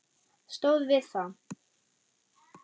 Stóð við það.